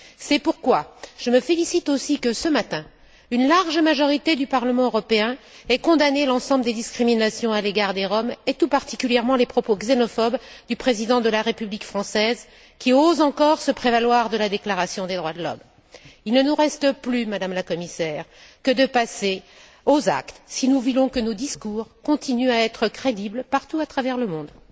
C'est pourquoi je me félicite aussi que ce matin, une large majorité du Parlement européen ait condamné l'ensemble des discriminations à l'égard des Roms et tout particulièrement les propos xénophobes du président de la République française, qui ose encore se prévaloir de la déclaration des droits de l'homme. Il ne nous reste plus, Madame la Commissaire, qu'à passer aux actes si nous voulons que nos discours continuent à être crédibles partout à travers le monde.